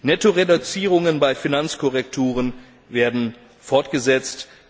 Nettoreduzierungen bei Finanzkorrekturen werden fortgesetzt.